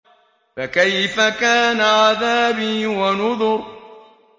فَكَيْفَ كَانَ عَذَابِي وَنُذُرِ